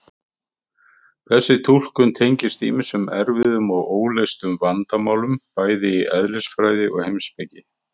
Þessi túlkun tengist ýmsum erfiðum og óleystum vandamálum bæði í eðlisfræði og heimspeki.